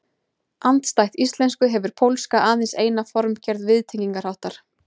Andstætt íslensku hefur pólska aðeins eina formgerð viðtengingarháttar.